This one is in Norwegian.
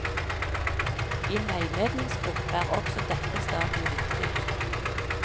I en veiledningsgruppe er også dette stadiet viktig.